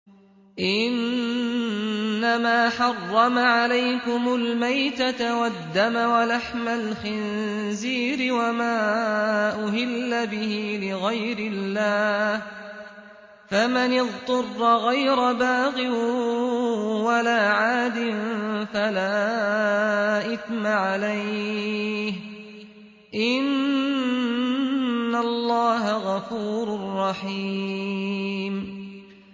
إِنَّمَا حَرَّمَ عَلَيْكُمُ الْمَيْتَةَ وَالدَّمَ وَلَحْمَ الْخِنزِيرِ وَمَا أُهِلَّ بِهِ لِغَيْرِ اللَّهِ ۖ فَمَنِ اضْطُرَّ غَيْرَ بَاغٍ وَلَا عَادٍ فَلَا إِثْمَ عَلَيْهِ ۚ إِنَّ اللَّهَ غَفُورٌ رَّحِيمٌ